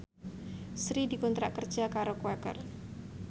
Sri dikontrak kerja karo Quaker